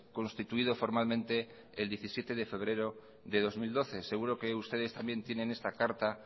constituido formalmente el diecisiete de febrero de dos mil doce seguro que ustedes también tienen esta carta